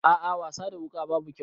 A'a wasa da wuka babu kyau.